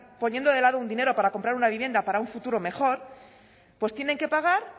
poniendo de lado un dinero para comprar una vivienda para un futuro mejor pues tienen que pagar